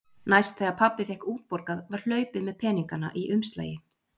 Næst þegar pabbi fékk útborgað var hlaupið með peningana í umslagi.